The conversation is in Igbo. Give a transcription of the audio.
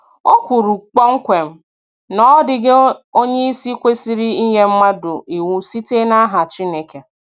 O kwuru kpọmkwem na ọ dịghị onye isi kwesịrị inye mmadụ iwu site n'aha Chineke.